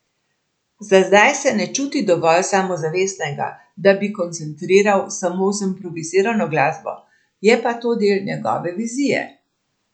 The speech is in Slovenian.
Za zdaj se ne čuti dovolj samozavestnega, da bi koncertiral samo z improvizirano glasbo, je pa to del njegove vizije.